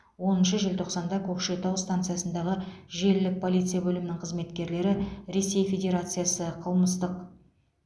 оныншы желтоқсанда көкшетау станциясындағы желілік полиция бөлімінің қызметкерлері ресей федерациясы қылмыстық